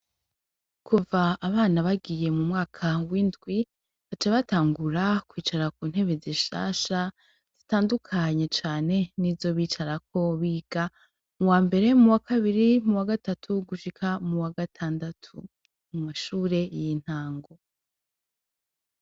Kuva abana bagiye mu mwaka w'indwi baca batangura kwicara ku ntebe zishasha zitandukanye cane nizo bicarako biga mu wambere; mu wakabiri; mu wagatatu gushika mu wagatandatu mu mashure y'intango.